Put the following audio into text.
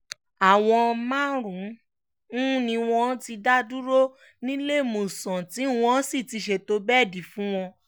àwọn márùn-ún ni wọ́n ti dá dúró níléemọ̀sán tí wọ́n sì ti ṣètò bẹ́ẹ̀dì fún wọn